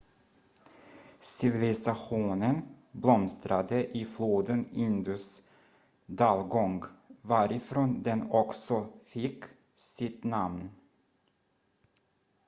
civilisationen blomstrade i floden indus dalgång varifrån den också fick sitt namn